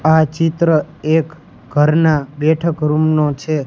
આ ચિત્ર એક ઘરના બેઠક રૂમ નો છે.